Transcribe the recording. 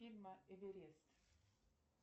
фильма эверест